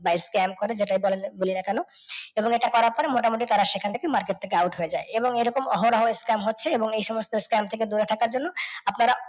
বা s scam করে যেটাই বলিনা কেন এবং এটা কারা করে মোটামুটি তারা সেখান থেকে market থেকে out হয়ে যায়। এবং এরকম ও অহরহ scam হচ্ছে এবং এই সমস্ত scam থেকে দূরে থাকার জন্য আপনারা